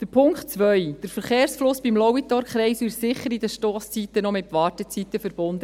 Der Punkt 2: Der Verkehrsfluss beim Lauitorkreisel ist zu den Stosszeiten sicher noch mit Wartezeiten verbunden;